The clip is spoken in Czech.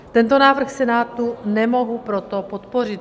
Tento návrh Senátu nemohu proto podpořit.